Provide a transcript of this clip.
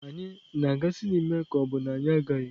Anyị na-aga sinima ka ọ bụ na anyị agaghị?